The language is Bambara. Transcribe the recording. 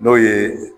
N'o ye